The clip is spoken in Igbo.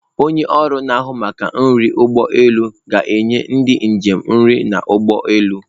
Onye ọrụ na-ahụ maka nri ụgbọ elu ga-enye ndị njem nri n'ụgbọelu.